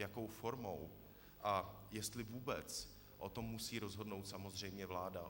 Jakou formou a jestli vůbec, o tom musí rozhodnout samozřejmě vláda.